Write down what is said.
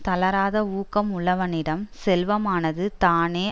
தளராத ஊக்கம் உள்ளவனிடம் செல்வமானது தானே